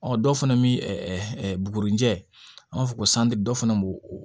Ɔ dɔ fana bɛ hɛrɛ bugunjɛ an b'a fɔ ko dɔ fana b'o o